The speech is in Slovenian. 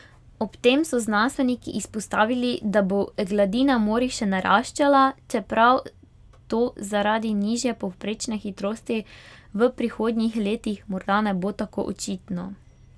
Ob tem so znanstveniki izpostavili, da bo gladina morij še naraščala, čeprav to zaradi nižje povprečne hitrosti v prihodnjih letih morda ne bo tako očitno.